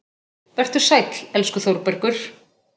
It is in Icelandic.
Vertu sæll, elsku Þórbergur.